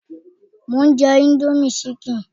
Mò ń jẹ indomie chicken